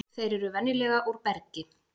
þeir eru venjulega úr bergi